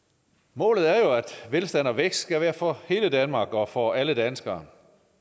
målet er jo at velstand og vækst skal være for hele danmark og for alle danskere